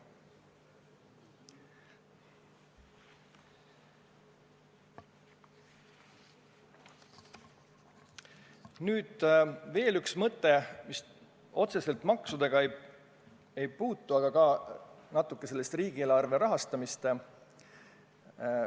Nüüd veel üks mõte, mis otseselt maksudesse ei puutu, aga puudutab natuke riigieelarve rahastamist.